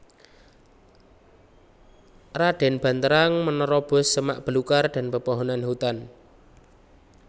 Raden Banterang menerobos semak belukar dan pepohonan hutan